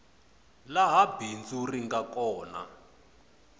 laha bindzu ri nga kona